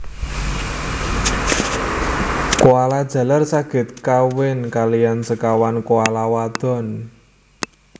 Koala jaler saged kawin kaliyan sekawan koala wadon